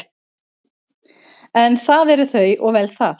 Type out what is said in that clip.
En það eru þau og vel það.